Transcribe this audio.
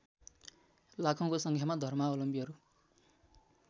लाखौँको सङ्ख्यामा धर्मावलम्बीहरू